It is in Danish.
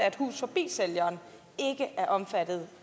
at hus forbi sælgeren ikke er omfattet